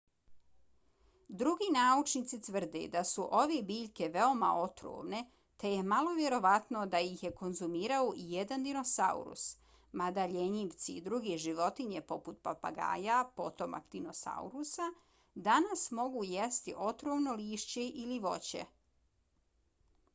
drugi naučnici tvrde da su ove biljke veoma otrovne te je malo vjerovatno da ih je konzumirao ijedan dinosaurus mada ljenjivci i druge životinje poput papagaja potomak dinosaurusa danas mogu jesti otrovno lišće ili voće